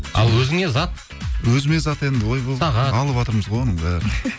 ал өзіңе зат өзіме зат енді ойбай сағат алыватырмыз ғой оның бәрін